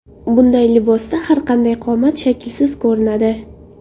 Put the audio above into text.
Bunday libosda har qanday qomat shaklsiz ko‘rinadi.